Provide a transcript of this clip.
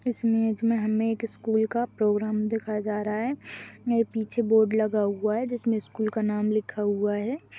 इस इमेज में हमें एक स्कूल का प्रोग्राम दिखाया जा रहा है मेरे पीछे बोर्ड लगा हुआ है जिसमें स्कूल का नाम लिखा हुआ है।